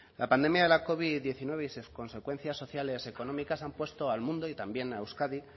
la pandemia de la covid diecinueve y sus consecuencias sociales económicas han puesto al mundo y también a euskadi